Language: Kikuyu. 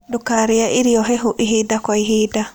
Ndũkarĩe irio hehũ ĩhĩda gwa ĩhĩda